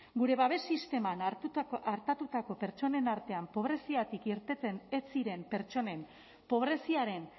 gure babes sisteman artatutako pertsonen artean pobreziatik irteten ez ziren pertsonen pobreziaren